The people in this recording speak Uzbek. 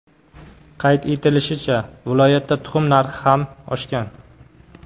Qayd etilishicha, viloyatda tuxum narxi ham oshgan.